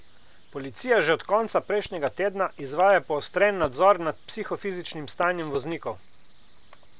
Policija že od konca prejšnjega tedna izvaja poostren nadzor nad psihofizičnim stanjem voznikov.